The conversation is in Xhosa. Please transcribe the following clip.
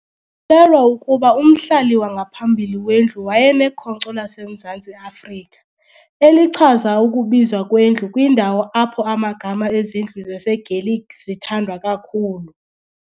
kholelwa ukuba umhlali wangaphambili wendlu wayenekhonkco laseMzantsi Afrika, elichaza ukubizwa kwendlu kwindawo apho amagama ezindlu zaseGaelic zithandwa kakhulu.